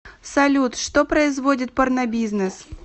салют что производит порнобизнес